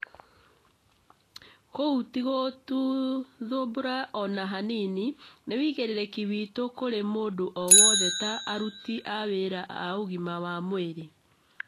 kũu ti gũtũthũmbũra ona hanini, nĩ wĩigĩrĩrĩki witu kũrĩ mũndũ o wothe ta aruti a wĩra a ũgima wa mwĩrĩ